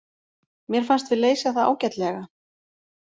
Mér fannst við leysa það ágætlega.